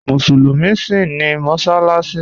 Musulumi síń ní mọ́ṣaláṣì